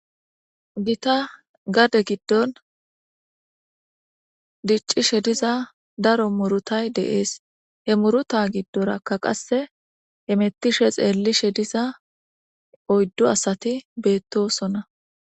Gita gade giddon dicci shediza daro murutay deees he muruta giddorakka qasse emettishe xeelli shediza oyddu asati beettosonna.